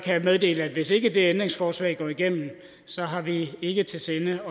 meddele at hvis ikke det ændringsforslag går igennem har vi ikke til sinde